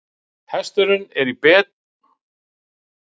Hesturinn var í betri holdum en honum hafði sýnst í fyrstu.